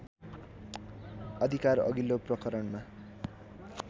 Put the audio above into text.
अधिकार अघिल्लो प्रकरणमा